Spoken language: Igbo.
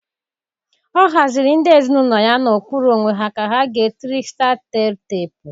Ọ haziri ndị ezinaụlọ ya n'okpuru onwa ka ha gee triksta tel tepu.